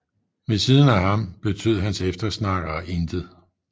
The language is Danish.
Ved siden af ham betød hans eftersnakkere intet